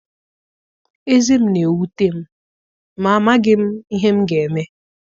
Ezé m na-ewute m ma amaghị m ihe m ga-eme.